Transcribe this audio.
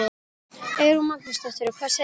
Eyrún Magnúsdóttir: Og hvað segir hann?